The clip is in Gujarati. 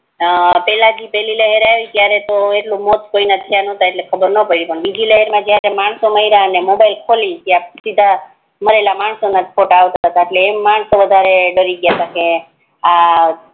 હા પેલઈ લહેર આવી તી તીરે એટલા મોત કોઈના થય નાત એટલે ખબર ના પડી ને બીજી લહેર મા જીરે માણસો મયરા ત્યારે ફોન ખૂલી ગ્યા સીધા મરેલા માણસો ના જ ફોટા આવતા એટલે માણસો વધારે ડરી ગ્યા તા કે આ